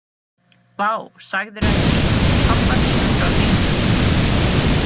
Vá, sagðirðu ekki einu sinni pabba þínum frá hringnum?